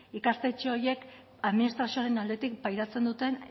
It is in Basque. ikastetxe horiek administrazioaren aldetik begiratzen duten